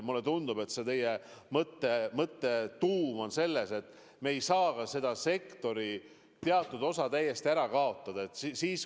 Mulle tundub, et teie mõtte tuum on selles, et me ei saa selle sektori teatud osa täiesti ära kaotada.